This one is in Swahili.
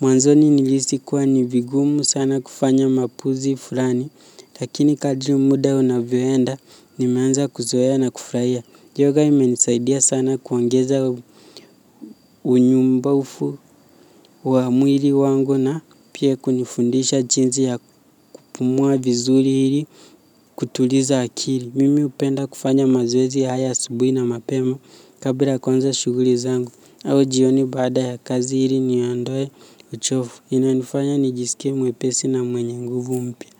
Mwanzoni nilihisi kuwa ni vigumu sana kufanya mapozi fulani, lakini kadri muda unavyoenda, nimeanza kuzoea na kufurahia. Yoga imenisaidia sana kuongeza unyumbufu wa mwili wangu na pia kunifundisha jinsi ya kupumua vizuri ili kutuliza akili. Mimi hupenda kufanya mazoezi haya asubuhi na mapema kabla ya kuanza shughuli zangu au jioni baada ya kazi ili niondoe uchovu. Inanifanya nijisike mwepesi na mwenye nguvu umpya.